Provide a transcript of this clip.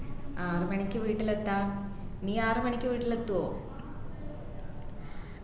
ആറു മണിക്ക് വീട്ടിൽ എത്താം നീ ആറു മണിക്ക് വീട്ടിൽ എത്തോ